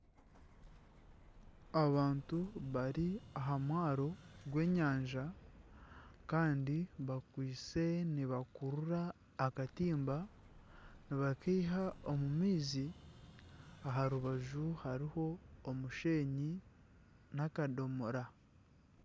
Abantu bari aha mwaaro gw'enyanja Kandi bakwaitse nibakurura akatimba nibakaiha omu maizi aha rubaju hariho omushenyi n'akadomora.